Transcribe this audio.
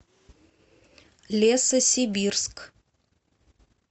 лесосибирск